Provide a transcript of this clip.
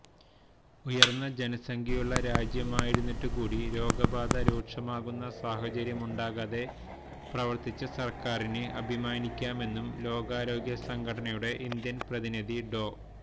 ഉയര്ന്ന ജനസംഖ്യയുള്ള രാജ്യമായിരുന്നിട്ട് കൂടി രോഗബാധ രൂക്ഷമാകുന്ന സാഹചര്യമുണ്ടാകാതെ പ്രവര്ത്തിച്ച സര്ക്കാരിന് അഭിമാനിക്കാമെന്നും ലോകാരോഗ്യ സംഘടനയുടെ ഇന്ത്യന് പ്രതിനിധി ഡോ